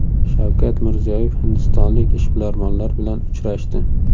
Shavkat Mirziyoyev hindistonlik ishbilarmonlar bilan uchrashdi.